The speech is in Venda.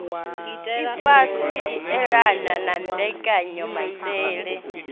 ifhasi i elanaho na mbekanyamaitele